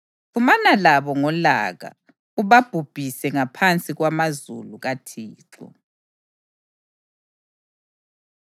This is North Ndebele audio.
Xhumana labo ngolaka, ubabhubhise ngaphansi kwamazulu kaThixo.